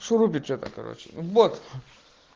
что любят это короче вот